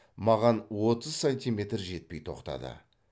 маған отыз сантиметр жетпей тоқтады